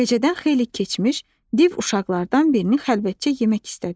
Gecədən xeyli keçmiş div uşaqlardan birini xəlvətcə yemək istədi.